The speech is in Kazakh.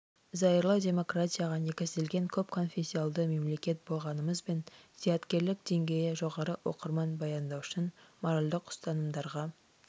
зайырлы демократияға негізделген көп конфессионалды мемлекет болғанымызбен зияткерлік деңгейі жоғары оқырман баяндаушының моральдік ұстанымдарға